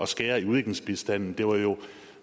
skære i udviklingsbistanden det var jo